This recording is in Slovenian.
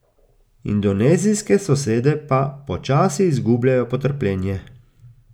Indonezijske sosede pa počasi izgubljajo potrpljenje.